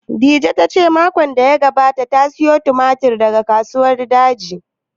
Dije ta ce makon da ya gabata ta sayo tumatir daga Kasuwar Daji